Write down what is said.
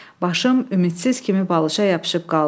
Başım ümidsiz kimi balışa yapışıb qaldı.